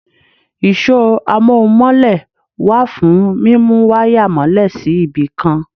Ìṣọ́ amóhun-mọ́lẹ̀ wà fún mímú wáyà mọ́lè sí ibì kan.